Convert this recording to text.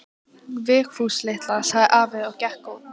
Vigfús litla, sagði afi og gekk út.